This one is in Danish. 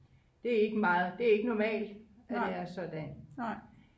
det er ikke normalt at det er sådan